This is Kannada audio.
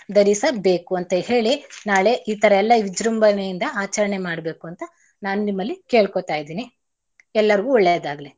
ಧರಿಸಬೇಕು ಅಂತ ಹೇಳಿ ನಾಳೆ ಈತರಾ ಎಲ್ಲಾ ವಿಜ್ರುಂಭಣೆಯಿಂದ ಆಚರಣೆ ಮಾಡ್ಬೇಕು ಅಂತ ನಾನ್ ನಿಮ್ಮಲ್ಲಿ ಕೇಳ್ಕೋತಾ ಇದಿನಿ. ಎಲ್ಲಾರ್ಗೂ ಒಳ್ಳೇದಾಗ್ಲಿ.